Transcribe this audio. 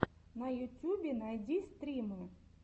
на ютьюбе найди стримы